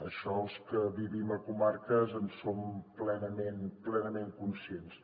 d’això els que vivim a comarques en som plenament conscients